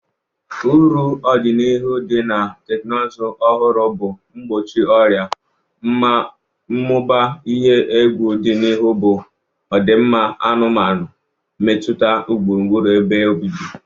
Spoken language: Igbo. Uru odinihu di na teknụzụ ọhụrụ bu Mgbochi ọrịa. ,Mmụba ihe egwu odinihu bụ ọdịmma anụmanụ, mmetụta gburugburu ebe obibi.